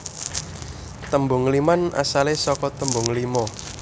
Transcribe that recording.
Tembung ngliman asale saka tembung lima